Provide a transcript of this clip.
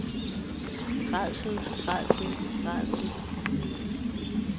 rædsel rædsel rædsel